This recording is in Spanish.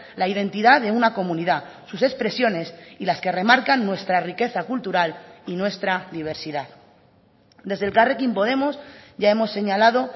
la identidad de una comunidad sus expresiones y las que remarcan nuestra riqueza cultural y nuestra diversidad desde elkarrekin podemos ya hemos señalado